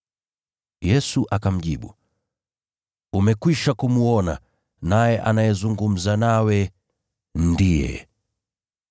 Yesu akamjibu, “Umekwisha kumwona, naye anayezungumza nawe, ndiye.”